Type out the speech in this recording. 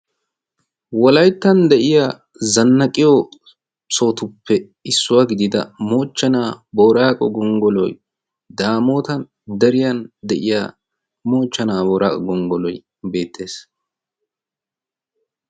Wolayttan de'iya zannaqiyo sohotuppe issuwaa gidida moochchanaa booraaqo gonggoloi daamootan deriyan de'iya moochchanaa booraaqo gonggoloy beettees.